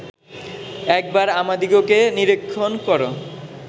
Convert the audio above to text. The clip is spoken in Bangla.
একবার আমাদিগকে নিরীক্ষণ কর